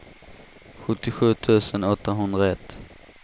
sjuttiosju tusen åttahundraett